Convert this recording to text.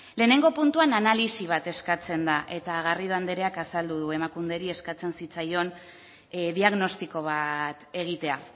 lehenengo puntuan analisi bat eskatzen da eta garrido andereak azaldu du emakunderi eskatzen zitzaion diagnostiko bat egitea